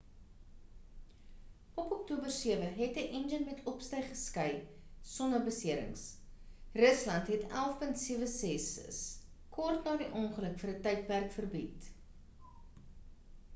op oktober 7 het 'n enjin met opstyg geskei sonder beserings. rusland het il-76's kort ná die ongeluk vir ń tydperk verbied